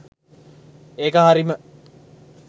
ඒක හරිම